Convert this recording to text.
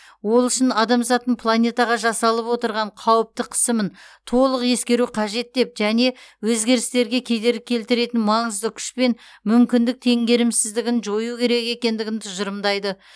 ол үшін адамзаттың планетаға жасалып отырған қауіпті қысымын толық ескеру қажет деп және өзгерістерге кедергі келтіретін маңызды күш пен мүмкіндік теңгерімсіздігін жою керек екендігін тұжырымдайды